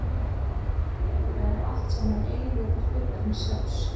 Þetta eru allt saman eiginleikar hlutarins sjálfs.